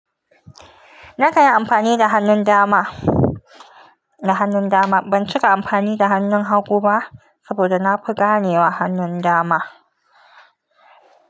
Na kan yi amfani da hannun dama, da hannun dama. Ban cika amfani da hannun hagu ba saboda na fi ganewa hannun dama.